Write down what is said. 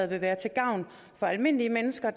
være til gavn for almindelige mennesker